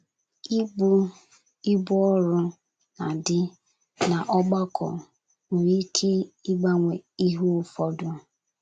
Ị bu ibu ọrụ na dị n’ọgbakọ nwere ike ịgbanwe ihe ụfọdụ.